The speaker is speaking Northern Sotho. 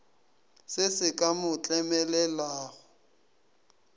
se se ka mo tlemelelago